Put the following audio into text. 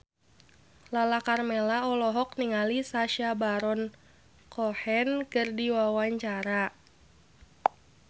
Lala Karmela olohok ningali Sacha Baron Cohen keur diwawancara